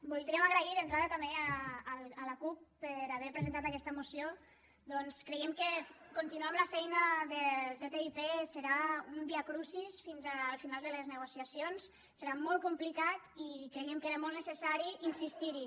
voldríem agrair d’entrada també a la cup haver presentat aquesta moció perquè creiem que continuar amb la feina del ttip serà un viacrucis fins al final de les negociacions serà molt complicat i creiem que era molt necessari insistir hi